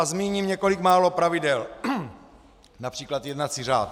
A zmíním několik málo pravidel, například jednací řád.